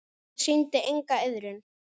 Ég sýndi enga iðrun.